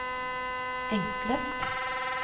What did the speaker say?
enklest